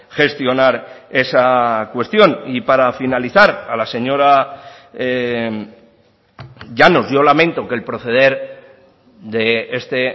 gestionar esa cuestión y para finalizar a la señora llanos yo lamento que el proceder de este